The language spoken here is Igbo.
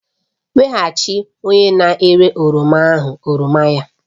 Nyeghachi onye na-ere oroma ahụ oroma ya!